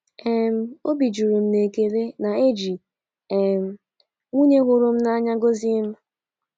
um Obi juru m n'ekele na eji um nwunye hụrụ m n'anya gọzie m.